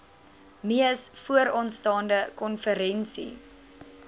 mees vooraanstaande konferensie